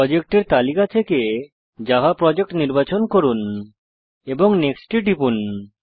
প্রজেক্টের তালিকা থেকে জাভা প্রজেক্ট নির্বাচন করুন এবং নেক্সট টিপুন